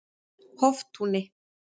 Hoftúni